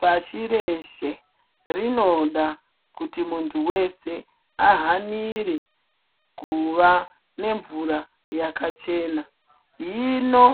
Pashi reeshe ,rinoda kuti muntu wese ahanire kuva nemvura yakachena. Hino